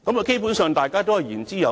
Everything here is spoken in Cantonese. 基本上，大家都言之有物。